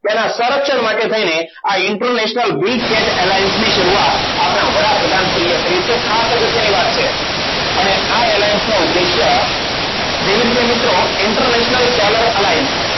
તેના સંરક્ષણ માટે થઈને આ international Big tat alliance ની શરૂઆત આપણા વડાપ્રધાન શ્રી એ કરી છે. ખાસ અગત્યની વાત છે. અને આ alliance નો ઉદ્દેશ્ય જેવી રીતે મિત્રો international foler alline